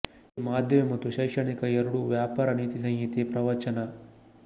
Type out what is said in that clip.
ಈ ಮಾಧ್ಯಮ ಮತ್ತು ಶೈಕ್ಷಣಿಕ ಎರಡೂ ವ್ಯಾಪಾರ ನೀತಿಸಂಹಿತೆ ಪ್ರವಚನ